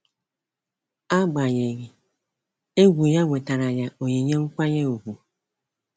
Agbanyeghị, egwu ya wetara ya onyinye nkwanye ùgwù.